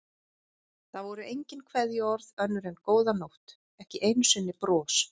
Það voru engin kveðjuorð önnur en góða nótt, ekki einu sinni bros.